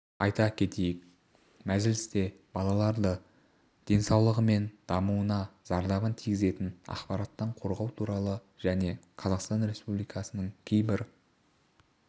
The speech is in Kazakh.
айта кетейік мәжілісте балаларды денсаулығы мен дамуына зардабын тигізетін ақпараттан қорғау туралы және қазақстан республикасының кейбір